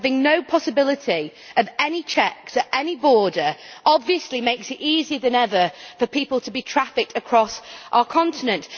Having no possibility of any checks at any border obviously makes it easier than ever for people to be trafficked across our continent.